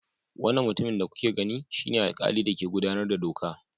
Wannan mutumin da kuke gani shine alkali da ke gudanar da doka.